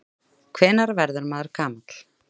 Hvenær verður maður gamall?